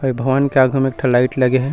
ए भवन के आघू में एक ठन लाइट लगे हे।